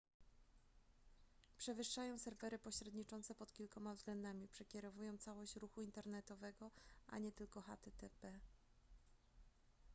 przewyższają serwery pośredniczące pod kilkoma względami przekierowują całość ruchu internetowego a nie tylko http